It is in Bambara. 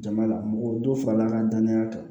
Jama la mɔgɔ dɔ farala ka danaya kan